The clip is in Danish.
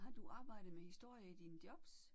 Har du arbejdet med historie i dine jobs?